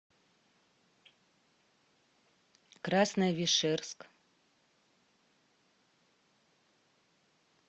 красновишерск